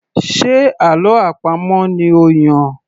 Ṣe àlọ́ àpamọ̀ ni ó Yàn?